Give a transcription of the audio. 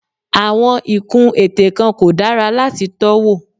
Àwọn ìkun ètè kan kò dára láti tọ́ wò.